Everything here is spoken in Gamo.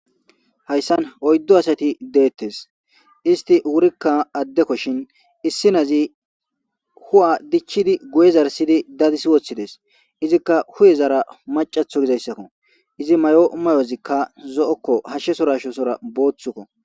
hayssan oyddo asati deettes. isti wurikka addekkoshin issi nazi hu'a dichidi guye zarsidi dadissi woththides. izikka hu'ezara macatho gizayssakko. izi may'o mayozikka zo'okko hashshesora hashesora booththukko.